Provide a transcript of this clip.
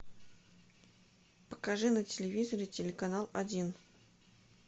покажи на телевизоре телеканал один